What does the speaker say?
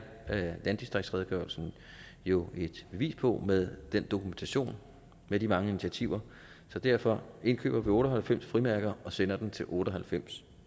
landdistriktsredegørelsen jo et bevis på med den dokumentation af de mange initiativer så derfor indkøber vi otte og halvfems frimærker og sender den til otte og halvfems